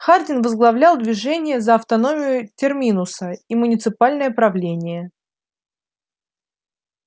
хардин возглавлял движение за автономию терминуса и муниципальное правление